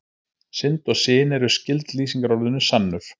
Synd og syn eru skyld lýsingarorðinu sannur.